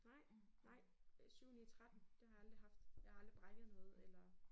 Nej nej 7 9 13 det har jeg aldrig haft. Jeg har aldrig bræket noget eller